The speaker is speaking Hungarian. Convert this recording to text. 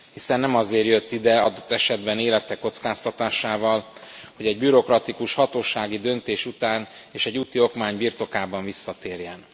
Hiszen nem azért jött ide, adott esetben élete kockáztatásával, hogy egy bürokratikus hatósági döntés után és egy úti okmány birtokában visszatérjen.